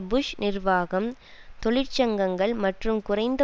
push நிர்வாகம் தொழிற்சங்கங்கள் மற்றும் குறைந்த